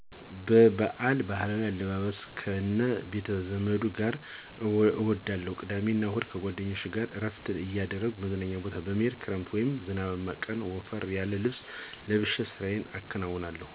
በበአል ባህላዊ አለባበስ እና ከ ቤተዘመድ ጋር እዉላለሁ ቅዳሜ እና እሁድ ከጓደኞቼ ጋር እረፍት እያደረኩ መዝናኛ ቦታ በመሄድ ክረምት ወይም ዝናባማ ቀን ወፈር ያለ ልብስ ለብሼ ስራየን አከናዉናለሁ።